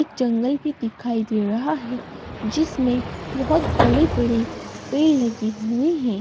एक जंगल भी दिखाई दे रहा है जिसमें बहुत बड़े-बड़े पेड़ लगे हुए हैं।